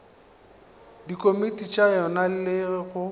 dikomiti tša yona le go